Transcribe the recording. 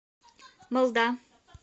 малда